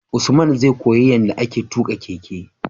Usman zai koya yanda ake tuka keke